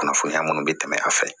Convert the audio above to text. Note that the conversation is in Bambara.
Kunnafoniya minnu bɛ tɛmɛ a fɛ